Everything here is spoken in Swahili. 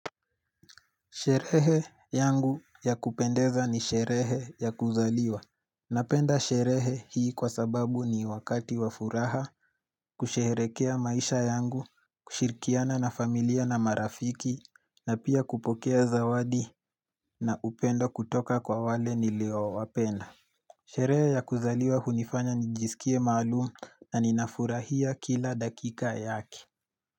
Sherehe yangu ya kupendeza ni sherehe ya kuzaliwa. Napenda sherehe hii kwa sababu ni wakati wafuraha, kusherekea maisha yangu, kushirikiana na familia na marafiki, na pia kupokea zawadi na upendo kutoka kwa wale niliyo wapenda. Sherehe ya kuzaliwa hunifanya nijisikie maalumu na ninafurahia kila dakika yake.